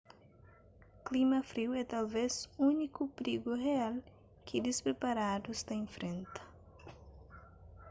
klima friu é talvez úniku prigu rial ki dispriparadus ta infrenta